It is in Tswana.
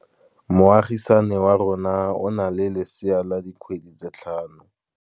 Moagisane wa rona o na le lesea la dikgwedi tse tlhano.